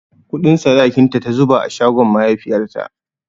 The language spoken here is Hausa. Kuɗin sadakinta ta zuba a shagon mahaifiyarta.